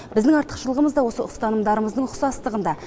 біздердің артықшылығымыз да ұстанымдарымыздың ұқсастығында